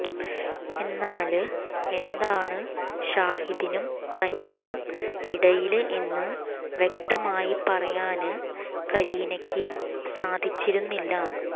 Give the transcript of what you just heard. എന്നാല് എന്താണ് ഷാഹിദിനും തനിക്കും ഇടയില് എന്ന് വ്യക്തമായി പറയാന് കരീനയ്ക്ക് സാധിച്ചിരുന്നില്ല